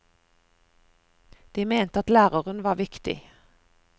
De mente at læreren var viktig.